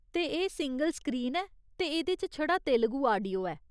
ते एह् single screen ऐ ते एह्दे च छड़ा तेलुगु आडियो ऐ।